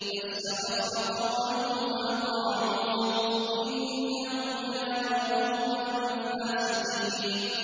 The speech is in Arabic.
فَاسْتَخَفَّ قَوْمَهُ فَأَطَاعُوهُ ۚ إِنَّهُمْ كَانُوا قَوْمًا فَاسِقِينَ